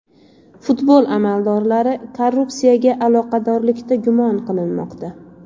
Futbol amaldorlari korrupsiyaga aloqadorlikda gumon qilinmoqda.